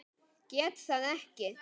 Get það ekki.